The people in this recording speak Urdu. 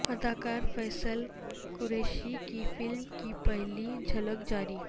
اداکار فیصل قریشی کی فلم کی پہلی جھلک جاری